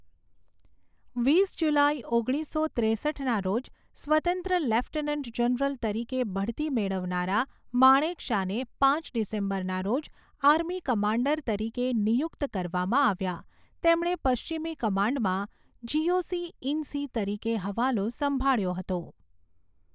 વીસ જુલાઈ, ઓગણીસો ત્રેસઠના રોજ સ્વતંત્ર લેફ્ટનન્ટ જનરલ તરીકે બઢતી મેળવનારા માણેકશાને પાંચ ડિસેમ્બરના રોજ આર્મી કમાન્ડર તરીકે નિયુક્ત કરવામાં આવ્યા, તેમણે પશ્ચિમી કમાન્ડમાં જીઓસી ઇન સી તરીકે હવાલો સંભાળ્યો હતો.